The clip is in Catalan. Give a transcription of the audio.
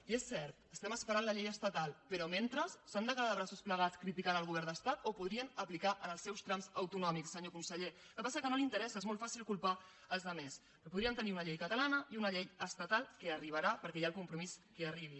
i és cert estem esperant la llei estatal però mentre s’han de quedar de braços plegats criticant el govern de l’estat o ho podrien aplicar en els seus tràmits autonòmics senyor conseller el que passa que no l’interessa és molt fàcil culpar els altres però podríem tenir una llei catalana i una llei estatal que arribarà perquè hi ha el compromís que arribi